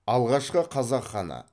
алғашқы қазақ ханы